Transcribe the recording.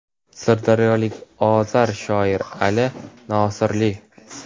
sirdaryolik ozar shoir Ali Nosirli);.